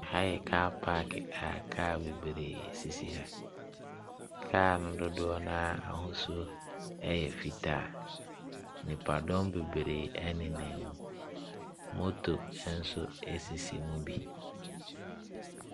Aha yɛ kaa paake a kaa bebree sisi ha. Kaa no dodoɔ no ara ahosuo yɛ fitaa. Nipadɔm bebree nenam mu. Moto nso sisi mu bi.